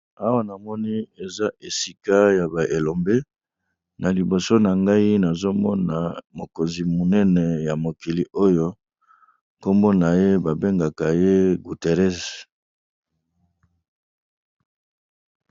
awa na moni eza esika ya baelombe na liboso na ngai nazomona mokonzi munene ya mokili oyo nkombo na ye babengaka ye gutéres